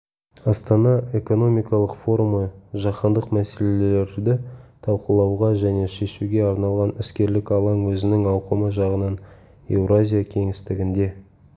астана экономикалық форумы жаһандық мәселелерді талқылауға және шешуге арналған іскерлік алаң өзінің ауқымы жағынан еуразия кеңістігінде